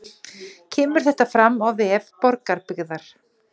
Kemur þetta fram á vef Borgarbyggðar